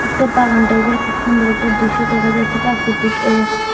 একটা বাগান টাইপের খুব সুন্দর একটা দৃশ্য দেখা যাচ্ছে প্রাকৃতিকে--